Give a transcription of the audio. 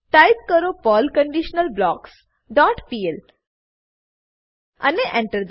type કરો Perl conditional blocks dot PL અને Enter દબાવો